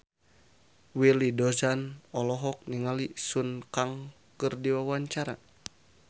Willy Dozan olohok ningali Sun Kang keur diwawancara